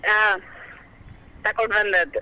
ಹಾ ತಕೊಂಡು ಬಂದದು.